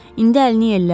İndi əlini yellə.